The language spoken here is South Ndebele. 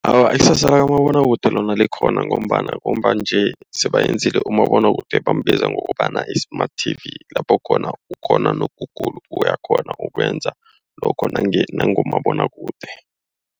Awa ikusasa likamabonwakude lona likhona ngombana, ngomba nje sebayenze umabonwakude abambiza ngokobana yi-smart TV. Lapho khona ukghona noku-Google, uyakghona ukwenza lokho nangomabonwakude.